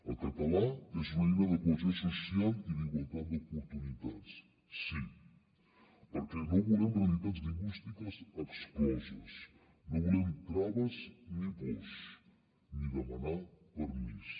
el català és una eina de cohesió social i d’igualtat d’oportunitats sí perquè no volem realitats lingüístiques excloses no volem traves ni pors ni demanar permís